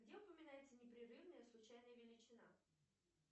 где упоминается непрерывная случайная величина